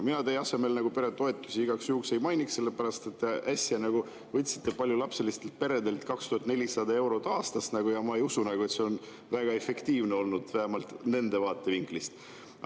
Mina teie asemel peretoetusi igaks juhuks ei mainiks, sellepärast et äsja võtsite paljulapselistelt peredelt 2400 eurot aastas, ja ma ei usu, et see on väga efektiivne olnud, vähemalt nende vaatevinklist.